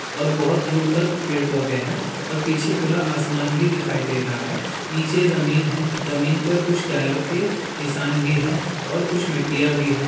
और बोहोत दूर तक पेड़-पौधे हैं और पीछे खुला आसमान भी दिखाई दे रहा है नीचे ज़मीन है जमीन पर कुछ टायर के निशान भी हैं और कुछ मिट्टियाँ भी हैं।